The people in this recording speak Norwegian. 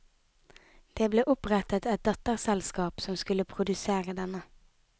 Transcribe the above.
Det ble opprettet et datterselskap som skulle produsere denne.